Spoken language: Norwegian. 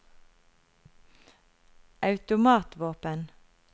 automatvåpen